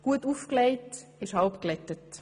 Gut aufgelegt ist halb gebügelt.